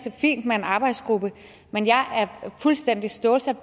er fint med en arbejdsgruppe men jeg er fuldstændig stålsat